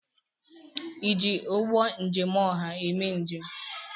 ịji ụgbọ njem ọha eme njem?